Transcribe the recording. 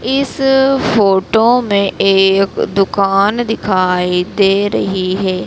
इस फोटो में एक दुकान दिखाई दे रही है।